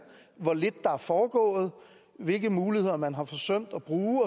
hvor lidt der er foregået hvilke muligheder man har forsømt at bruge